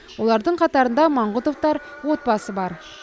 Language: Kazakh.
олардың қатарында маңғұтовтар отбасы бар